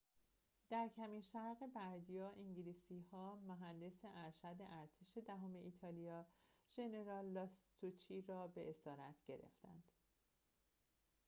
در کمین شرق بردیا انگلیسی‌ها مهندس ارشد ارتش دهم ایتالیا ژنرال لاستوچی را به اسارت گرفتند